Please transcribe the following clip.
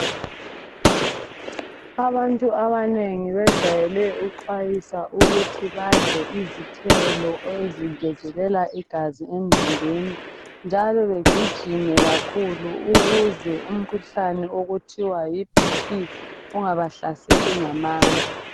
Abantu abanengi bajwayele ukuxhwayiswa ukuthi badle izithelo ezingezelela igazi emzimbeni njalo begijime kakhulu ukuze umkhuhlane okuthiwa yiBP ungabahlaseli ngamandla.